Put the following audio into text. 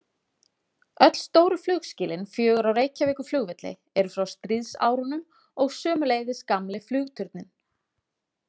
Öll stóru flugskýlin fjögur á Reykjavíkurflugvelli eru frá stríðsárunum og sömuleiðis gamli flugturninn.